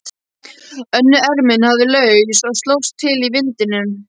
Önnur ermin lafði laus og slóst til í vindinum.